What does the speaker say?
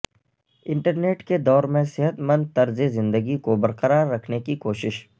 internet کے دور میں صحت مند طرز زندگی کو برقرار رکھنے کی کوشش